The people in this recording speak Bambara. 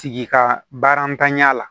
Sigi ka baara ntanya la